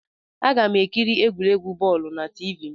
Aga m ekiri egwuregwu bọọlu na Tiivii m